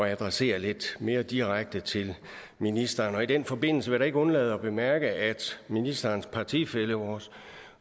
adressere lidt mere direkte til ministeren i den forbindelse vil ikke undlade at bemærke at ministerens partifælle vores